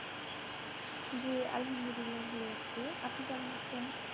জি আহালমাদুল্লাহ ভালো আছি আপনি কেমন আছেন?